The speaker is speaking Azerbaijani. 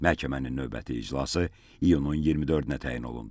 Məhkəmənin növbəti iclası iyunun 24-nə təyin olundu.